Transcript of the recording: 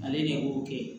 Ale ni o kɛ